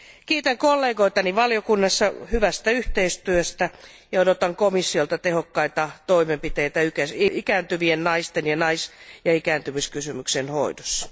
Kiitän kollegoitani valiokunnassa hyvästä yhteistyöstä ja odotan komissiolta tehokkaita toimenpiteitä ikääntyvien naisten ja ikääntymiskysymyksien hoidossa.